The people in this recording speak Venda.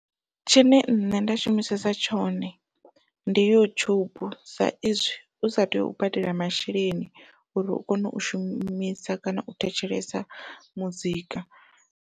Tshine nṋe nda shumisesa tshone ndi yutshubu, sa izwi usa tei u badela masheleni uri u kone u shumisa kana u thetshelesa muzika.